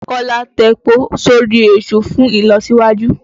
Kọ́lá tepo sórí èṣù fùn ìlọsíwájú.